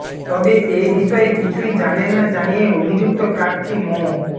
তবে এ বিষয়ে কিছুই জানেন না জানিয়ে অভিযুক্ত প্রার্থী মো